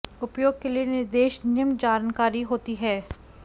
उपयोग के लिए निर्देश निम्न जानकारी होती है